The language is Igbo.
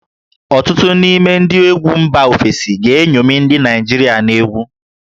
Ọtụtụ n'ime ndị egwu mba ofesi ga-eṅomi ndị Naịjirịa n'egwu